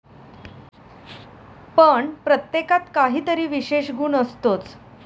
पण प्रत्येकात काही तरी विशेष गुण असतोच.